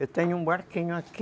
Eu tenho um barquinho aqui.